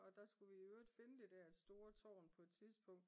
Og der vi skulle i øvrigt finde det der store tårn på et tidspunkt